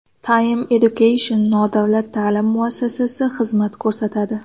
Time Education nodavlat ta’lim muassasasi xizmat ko‘rsatadi .